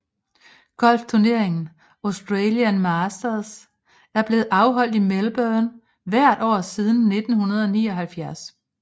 Golfturneringen Australian Masters er blevet afholdt i Melbourne hvert år siden 1979